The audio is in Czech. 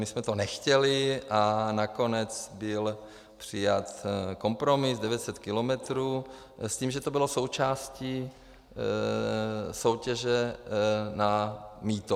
My jsme to nechtěli a nakonec byl přijat kompromis 900 kilometrů s tím, že to bylo součástí soutěže na mýto.